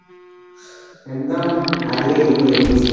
একদম হাড়িয়া ই করে দিয়েছে।